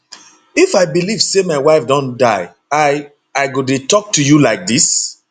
if i believe say my wife don die i i go dey tok to you like dis